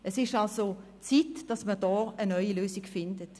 Es ist also Zeit, dass man hier eine neue Lösung findet.